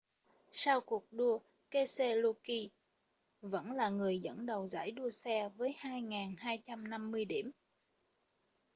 sau cuộc đua keselowski vẫn là người dẫn đầu giải đua xe với 2.250 điểm